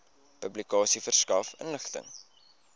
publikasie verskaf inligting